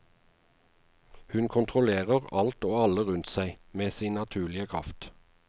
Hun kontrollerer alt og alle rundt seg med sin naturlige kraft.